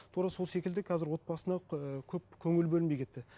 тура сол секілді қазір отбасына ыыы көп көңіл бөлінбей кетті